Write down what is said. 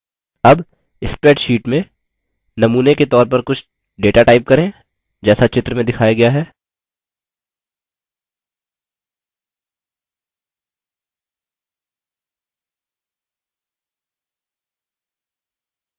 अब spreadsheet में नमूने के तौर कुछ data type करें जैसा चित्र में दिखाया गया है